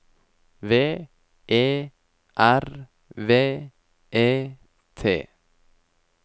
V E R V E T